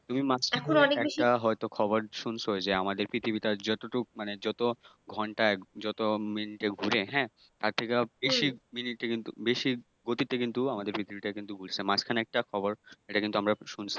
তুমি মাঝখানে একটা হয়তো একটা খবর হয়ত শুনেছ যে আমাদের পৃথিবীটা যতটুক মানে যত ঘণ্টায় যত মিনিটে ঘুরে হ্যাঁ, তার থেকে বেশি মিনিটে কিন্তু বেশি গতিতে কিন্তু আমাদের পৃথিবীটা কিন্তু ঘুরছে। মাঝখানে একটা খবর এটা কিন্তু আমরা শুনেছি